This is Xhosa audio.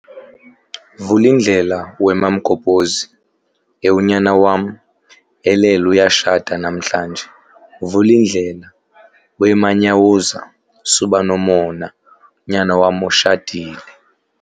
Vulindlela wemaMgobhozi ewe unyana wam elele uyashata namhlanje, vulindlela wemaNyawuza suba nomona unyana wam ushadile.